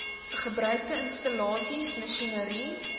gebruikte installasies masjinerie